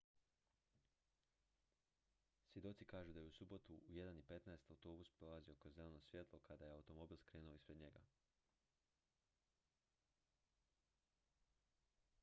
svjedoci kažu da je u subotu u 1:15 autobus prolazio kroz zeleno svjetlo kada je automobil skrenuo ispred njega